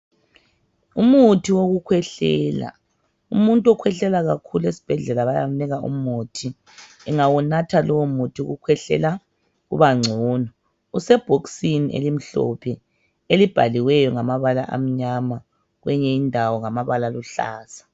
Umuthi wokukhwehlela, umuntu okhwehlela kakhulu esibhedlela bayamnika umuthi. Ewunganatha lowomuthi ukukhwehlela kubangcono. Usebhokisini elimhlophe elibhaliweyo ngamabala amnyama kweyinye indawo ngamabala aluhlaza.